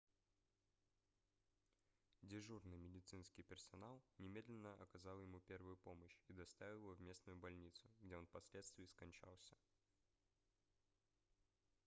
дежурный медицинский персонал немедленно оказал ему первую помощь и доставил его в местную больницу где он впоследствии скончался